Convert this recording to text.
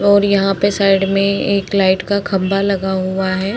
और यहाँ पर साइड में एक लाइट का खंभा लगा हुआ है।